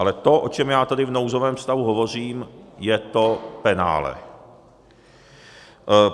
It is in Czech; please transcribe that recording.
Ale to, o čem já tady v nouzovém stavu hovořím, je to penále.